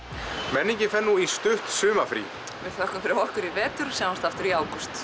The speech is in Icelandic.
menningin fer nú í stutt sumarfrí við þökkum fyrir okkur í vetur og sjáumst aftur í ágúst